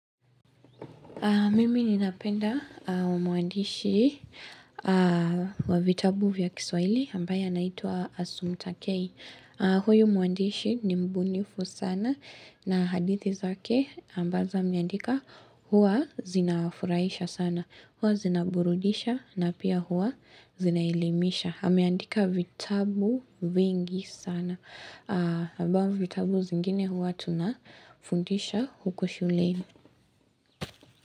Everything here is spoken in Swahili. Mimi ninapenda muandishi wa vitabu vya kiswahili ambaye anaitwa Asumtakei. Huyo muandishi ni mbunifu sana na hadithi zake ambazo ameandika huwa zinawafurahisha sana. Huwa zinaburudisha na pia huwa zinaelimisha. Ameandika vitabu vingi sana. Abavyo vitabu zingine huwa tunafundisha huku shuleni.